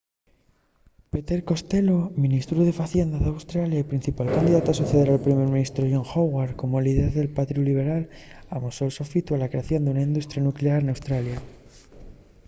peter costello ministru de facienda d’australia y principal candidatu a soceder al primer ministru john howard como líder del partíu lliberal amosó’l so sofitu a la creación d’una industria nuclear n’australia